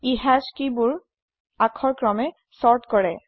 ই হাশ কেই বোৰ আখৰক্ৰমে চৰ্ত্ কৰে